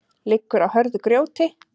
liggur á hörðu grjóti